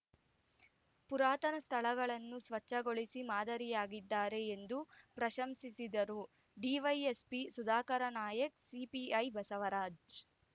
ಪುರಾತನ ಸ್ಥಳಗಳನ್ನು ಸ್ವಚ್ಛಗೊಳಿಸಿ ಮಾದರಿಯಾಗಿದ್ದಾರೆ ಎಂದು ಪ್ರಶಂಸಿಸಿದರು ಡಿವೈಎಸ್ಪಿ ಸುಧಾಕರ ನಾಯಕ್‌ಸಿಪಿಐ ಬಸವರಾಜ್‌